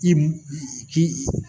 I ji